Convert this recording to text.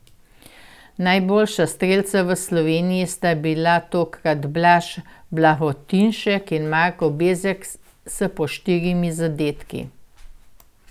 Najboljša strelca pri Sloveniji sta bila tokrat Blaž Blagotinšek in Marko Bezjak s po štirimi zadetki.